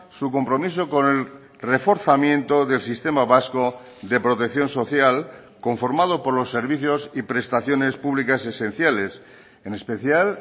su compromiso con el reforzamiento del sistema vasco de protección social conformado por los servicios y prestaciones públicas esenciales en especial